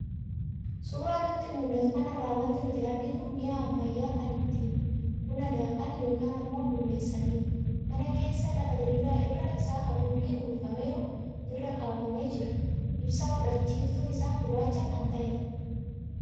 Suuraa nutti mul'atu kanarraa wanti nuti arginu mi'a ammayyaa kan ittiin buna daakan yookaan ammoo bulleessanidha. Mana keessa lafa diriiraa irri isaa haguuggiin uwwifameeru irra kaawwamee jira, ibsaa fudhachiiftuun isaa gurraacha kan ta'edha.